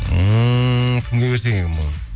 ммм кімге берсек екен бұны